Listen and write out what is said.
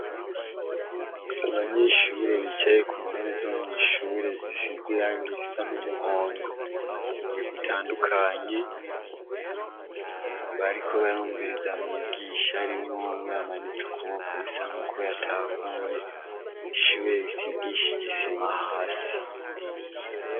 Abanyeshure bicaye ku ntebe zo mw'ishure zisize irangi risa n'umuhondo mu mige utandukanye, bariko barumviriza mwigisha harimwo umwe amanitse ukuboko, bisa nk'uko yatahuye ishure risigishe ijisima hasi.